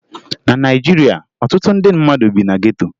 Na Naịjirịa, ọtụtụ ndị mmadụ bi na geto